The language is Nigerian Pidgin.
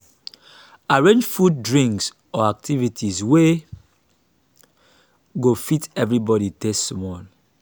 arrange food drinks or activities wey go fit everybody taste small.